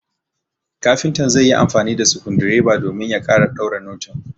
kafintan zaiyi amfani da skundireba domin ya kara daure noting